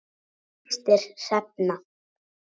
Þín systir Hrefna.